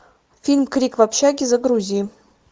фильм крик в общаге загрузи